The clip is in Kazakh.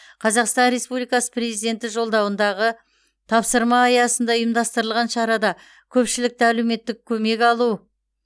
қазақстан республикасы президенті жолдауындағы тапсырма аясында ұйымдастырылған шарада көпшілікті әлеуметтік көмек алу